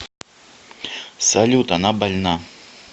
салют она больна